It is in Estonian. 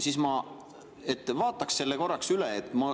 Vaataks selle korraks üle!